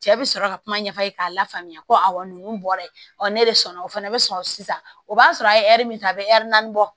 Cɛ bi sɔrɔ ka kuma ɲɛfɔ k'a la faamuya ko awɔ nunnu bɔra yen ɔ ne de sɔnna o fana bɛ sɔrɔ sisan o b'a sɔrɔ a ye ɛri min ta a bɛ naani bɔ